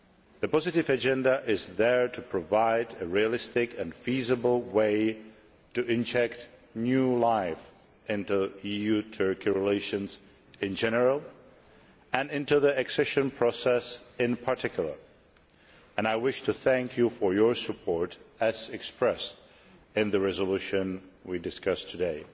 The positive agenda is there to provide a realistic and feasible way of injecting new life into EU Turkey relations in general, and into the accession process in particular, and I wish to thank you for your support as expressed in the resolution we are discussing today.